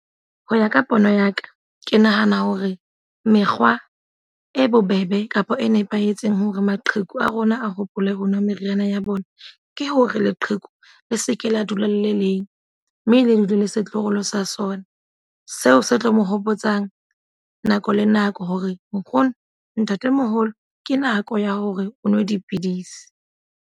Ho ya ka pono ya ka. Ke nahana hore mekgwa e bobebe kapa e nepahetseng hore maqheku a rona a hopole ho nwa meriana ya bona. Ke hore leqheku le seke la dula le leng mme le dule le setloholo sa sona. Seo se tlo mo hopotsang nako le nako hore nkgono, ntatemoholo ke nako ya hore o nwe dipidisi.